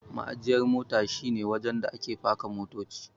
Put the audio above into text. Ma'ajiyar mota shi ne wajen da ake paka motoci.